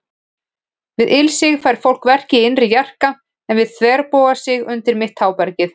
Við ilsig fær fólk verki í innri jarka, en við þverbogasig undir mitt tábergið.